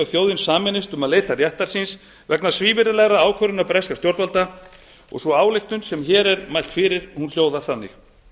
þjóðin sameinist um að leita réttar síns vegna svívirðilegrar ákvörðunar breskra stjórnvalda og sú ályktun sem hér er mælt fyrir hljóðar þannig